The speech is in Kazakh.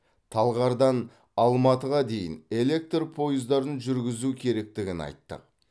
талғардан алматыға дейін электр пойыздарын жүргізу керектігін айттық